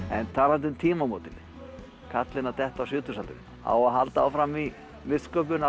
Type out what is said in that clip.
en talandi um tímamótin kallinn að detta í sjötugsaldur á að halda áfram í listsköpun